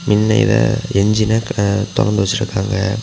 மின்னைல என்ஜின தொறந்து வச்சிருக்காங்க.